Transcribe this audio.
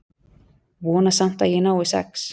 Vona samt að ég nái sex.